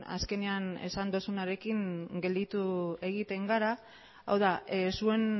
azkenean esan duzunarekin gelditu egiten gara hau da zuen